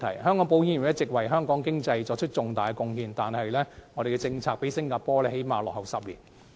香港保險業一直為香港經濟作出重大貢獻，但我們的政策較新加坡落後了最少10年。